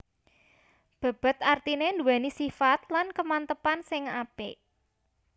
Bèbèt artiné nduwèni sifat lan kemantapan sing apik